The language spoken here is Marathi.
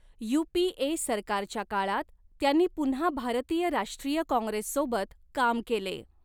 यू.पी.ए. सरकारच्या काळात त्यांनी पुन्हा भारतीय राष्ट्रीय काँग्रेससोबत काम केले.